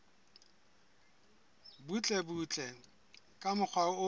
butlebutle ka mokgwa o ke